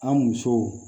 An musow